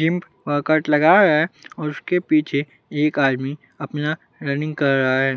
Gym workout लगा रहा है और उसके पीछे एक आदमी अपना रनिंग कर रहा है।